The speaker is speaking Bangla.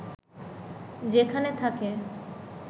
যেখানে থাকে